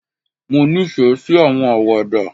Mo ní ìfẹ sí àwọn Àwàdà